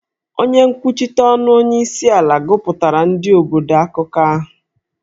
Onye nkwuchite ọnụ onyeisiala gụpụtara ndị obodo akụkọ ahụ